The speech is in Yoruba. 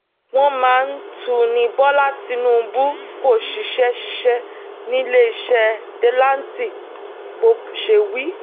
wọ́n mà tún ní bọ́lá tìǹbù kó ṣiṣẹ́ ṣiṣẹ́ níléeṣẹ́ delanti bó ṣe wí